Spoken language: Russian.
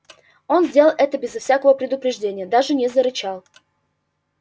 он сделал это без всякого предупреждения даже не зарычал